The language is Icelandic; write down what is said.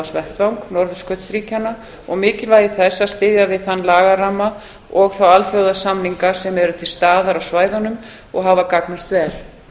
aðalsamráðsvettvang norðurskautsríkjanna og mikilvægi þess að styðja við þann lagaramma og þá alþjóðasamninga sem eru til staðar á svæðunum og hafa gagnast vel